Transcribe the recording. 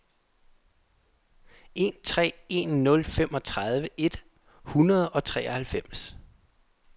en tre en nul femogtredive et hundrede og treoghalvfems